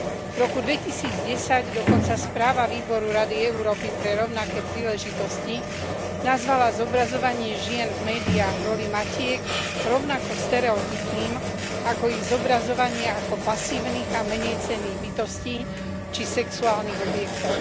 V roku 2010 dokonca správa výboru Rady Európy pre rovnaké príležitosti nazvala zobrazovanie žien v médiách v roli matiek rovnako stereotypným ako ich zobrazovanie ako pasívnych a menejcenných bytostí, či sexuálnych objektov.